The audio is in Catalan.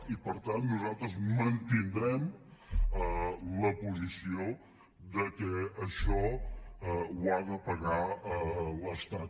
i per tant nosaltres mantindrem la posició que això ho ha de pagar l’estat